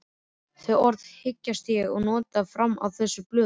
Þau orð hyggst ég ekki nota framar á þessum blöðum.